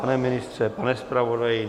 Pane ministře, pane zpravodaji?